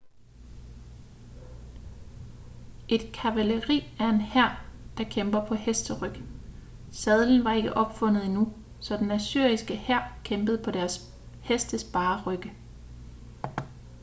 et kavaleri er en hær der kæmper på hesteryg sadlen var ikke opfundet endnu så den assyriske hær kæmpede på deres hestes bare rygge